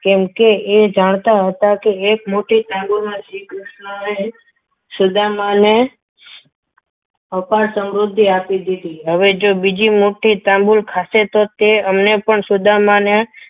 કેમકે એ જાણતા હતા એક મુઠ્ઠી તાંબોલમાં શ્રીકૃષ્ણએ સુદામાને અપાર સમૃદ્ધિ આપી દીધી હવે જો એ બીજી મુઠ્ઠી તાંબુલ ખાતે તો તો એ અમને પણ સુદામાને